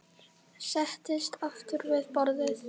Settist aftur við borðið.